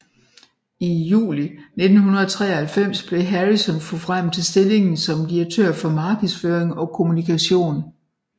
I juli 1993 blev Harrison forfremmet til stillingen som direktør for markedsføring og kommunikation